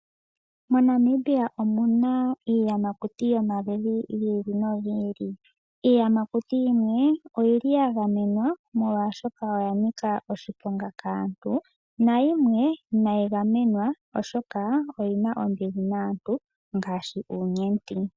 MoNamibia omuna iiyamakuti yomaludhi gi ili nogi ili, iiyamakuti yimwe oyili ya gamenwa, molwaashoka oya nika oshiponga kaantu, nayimwe inayi gamenwa oshoka oyina ombili naantu, ngaashi uunyenti.